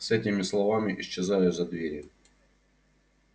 с этими словами исчезаю за дверью